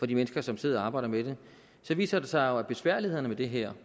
de mennesker som sidder og arbejder med det viser det sig jo at besværlighederne med det her